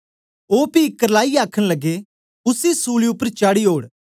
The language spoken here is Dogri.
ओ पी करलाईयै आखन लग्गे उसी सूली उपर चाढ़ी ओड़